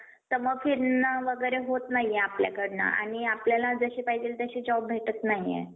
तर मग फिरणं वगैरे होत नाही आपल्याकडनं आणि आपल्याला जसे पाहिजे तसे job भेटत नाहीये.